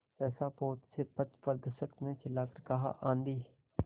सहसा पोत से पथप्रदर्शक ने चिल्लाकर कहा आँधी